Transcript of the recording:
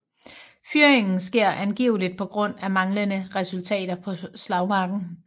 Fyringen sker angiveligt på grund af manglende resultater på slagmarken